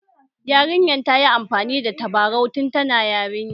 Yarinyar ta yi amfani da tabarau tun tana yarinya